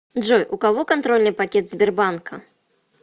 джой у кого контрольный пакет сбербанка